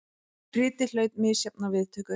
Ritið hlaut misjafnar viðtökur.